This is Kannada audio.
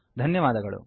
ಧನ್ಯವಾದಗಳು